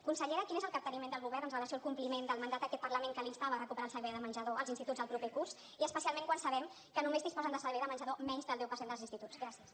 consellera quin és el capteniment del govern amb relació al compliment del mandat d’aquest parlament que l’instava a recuperar el servei de menjador als instituts el proper curs i especialment quan sabem que només disposen de servei de menjador menys del deu per cent dels instituts gràcies